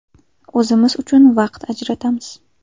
O‘zimiz uchun vaqt ajratamiz.